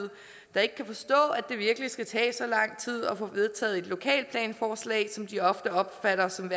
der ikke kan forstå at det virkelig skal tage så lang tid at få vedtaget et lokalplansforslag som de ofte opfatter som